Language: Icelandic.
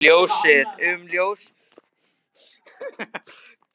um ljósið